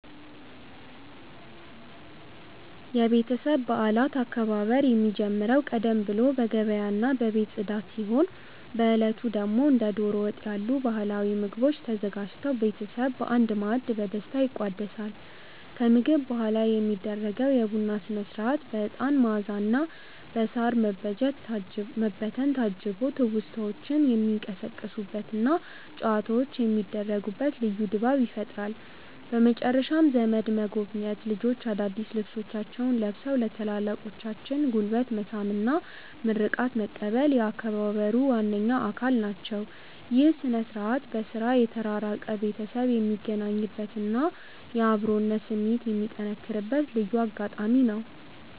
የቤተሰብ በዓላት አከባበር የሚጀምረው ቀደም ብሎ በገበያና በቤት ጽዳት ሲሆን፣ በዕለቱ ደግሞ እንደ ደሮ ወጥ ያሉ ባህላዊ ምግቦች ተዘጋጅተው ቤተሰብ በአንድ ማዕድ በደስታ ይቋደሳል። ከምግብ በኋላ የሚደረገው የቡና ሥነ-ሥርዓት በዕጣን መዓዛና በሳር መበተን ታጅቦ ትውስታዎች የሚቀሰቀሱበትና ጨዋታዎች የሚደሩበት ልዩ ድባብ ይፈጥራል። በመጨረሻም ዘመድ መጎብኘት፣ ልጆች አዳዲስ ልብሶቻቸውን ለብሰው የታላላቆችን ጉልበት መሳም እና ምርቃት መቀበል የአከባበሩ ዋነኛ አካል ናቸው። ይህ ሥነ-ሥርዓት በሥራ የተራራቀ ቤተሰብ የሚገናኝበትና የአብሮነት ስሜት የሚጠነክርበት ልዩ አጋጣሚ ነው።